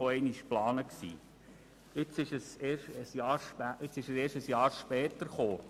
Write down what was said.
Nun ist er ein Jahr später gekommen.